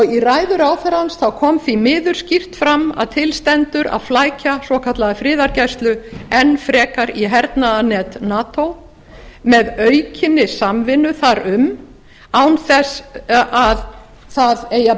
í ræðu ráðherrans kom því miður skýrt fram að til stendur að flækja svokallaða friðargæslu enn frekar í hernaðarnet nato með aukinni samvinnu þar um án þess að það eigi að